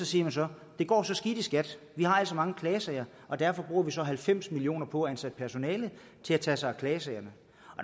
siger man så det går så skidt i skat vi har så mange klagesager og derfor bruger vi så halvfems million kroner på at ansætte personale til at tage sig af klagesagerne